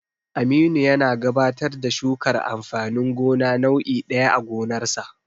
Aminu yana gabatar da shukar amfanin gona nau'i ɗaya a gonarsa.